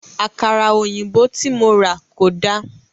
À̀kàrà òyìnbó tí mo rà kò dáa.